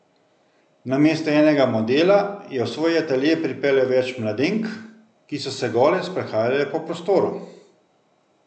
Namesto enega modela je v svoj atelje pripeljal več mladenk, ki so se gole sprehajale po prostoru.